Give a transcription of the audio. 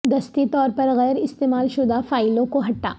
دستی طور پر غیر استعمال شدہ فائلوں کو ہٹا